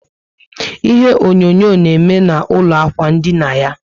Ihe onyonyo na eme na ụlọ ikwụ ndina yá